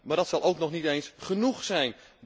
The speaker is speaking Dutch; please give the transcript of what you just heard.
Maar dat zal ook nog niet eens genoeg zijn.